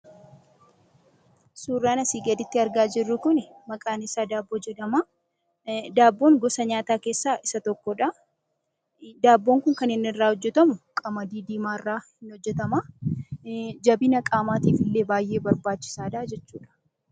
Suuraan asii gaditti argaa jirru kun maqaan isaa daabboo jedhama. Daabboon gosa nyaataa keessaa isa tokkodha. Daabboon kun kan irraa hojjatamu qamadii diimaarraa hojjatama. Jabina qaamaatiif illee baay'ee barbaachisaadha jechuudha.